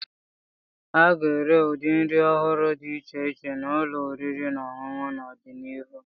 A ga-ere ụdị nri ọhụrụ dị iche iche n'ụlọ oriri na ọṅụṅụ n'ọdịnihu.